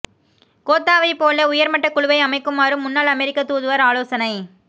கோத்தாவை போல உயர்மட்டக் குழுவை அமைக்குமாறு முன்னாள் அமெரிக்க தூதுவர் ஆலோசனை